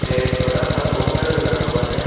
एक बड़ा सा पोस्टर भी लगा हुआ है।